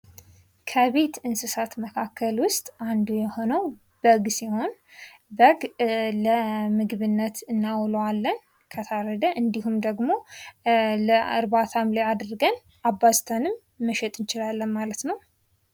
ከቤት እንስሳት መካከል ውስጥ አንዱ የሆነው በግ ሲሆን በግ ለምግብነት እናውለዋለን ከታረደ እንድሁም ደግሞ ለርባታም አድርገን አባዝተንም መሸጥ እንችላለን ማለት ነው።